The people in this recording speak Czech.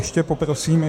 Ještě poprosím.